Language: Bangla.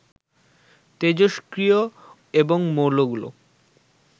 তেজস্ক্রিয় এবং মৌলগুলো